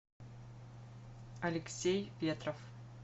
алексей ветров